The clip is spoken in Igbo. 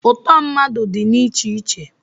ụtọ mmadụ dị na iche iche